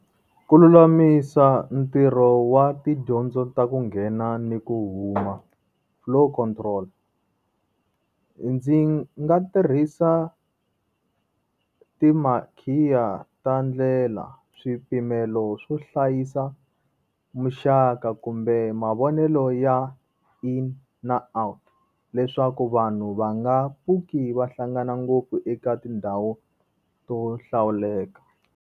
Ku lulamisa ntirho wa tidyondzo ta ku nghena ni ku huma flow control. Ndzi nga tirhisa ti makhiya ta ndlela, swipimelo swo hlayisa muxaka kumbe mavonelo ya in na out leswaku vanhu va nga pfuki va hlangana ngopfu eka tindhawu to hlawuleka.